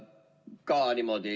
Tänan!